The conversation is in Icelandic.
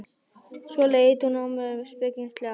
Svo leit hún á mig spekingslega.